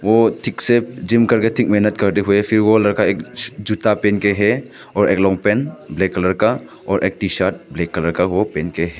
वो ठीक से जिम करके ठीक मेहनत करते हुए। फिर वो लड़का जूता पहन के है और एक लांग पैंट ब्लैक कलर का और एक टी-शर्ट ब्लैक कलर का वो पहन के है।